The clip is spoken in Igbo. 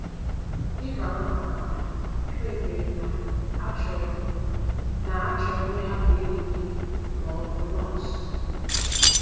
“ Dị ka nwata nwanyị, ekpebiri m na achọrọ na achọrọ m ịhapụ ịlụ di ma ọ bụ nọọsụ.